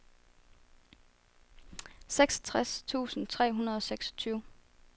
seksogtres tusind tre hundrede og seksogtyve